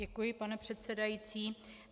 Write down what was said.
Děkuji, pane předsedající.